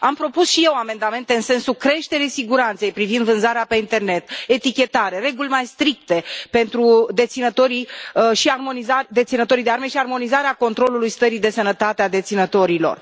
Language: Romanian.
Am propus și eu amendamente în sensul creșterii siguranței privind vânzarea pe internet, etichetare, reguli mai stricte pentru deținătorii de arme și armonizarea controlului stării de sănătate a deținătorilor.